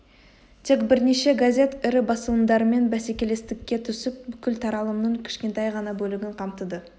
тек бірнеше газет ірі басылымдармен бәсекелестікке түсіп бүкіл таралымның кішкентай ғана бөлігін қамтыды